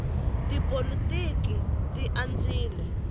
tipolotiki ti andzile